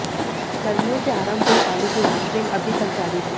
गर्मियों से आरंभ हुई पानी की राशनिंग अभी तक जारी है